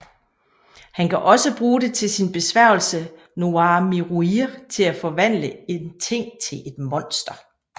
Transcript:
Han kan også bruge det til sin besværgelse Noir Miroir til at forvandle en ting til et monster